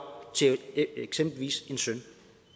til eksempelvis en søn